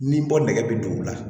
Ni bɔ nɛgɛ bi duuru la